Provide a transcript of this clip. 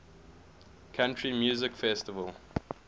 country music festival